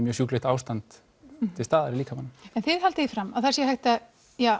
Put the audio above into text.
með sjúklegt ástand til staðar í líkamanum en þið haldið því fram að það sé hægt að